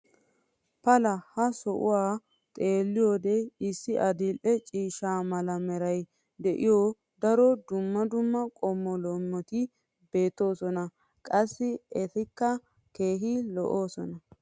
pa laa ha sohuwan xeelliyoode issi adil'e ciishsha mala meray de'iyo daro dumma dumma qommo loometti beetoosona. qassi etikka keehi lo'oosona.